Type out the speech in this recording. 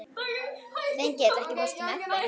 Þengill, ekki fórstu með þeim?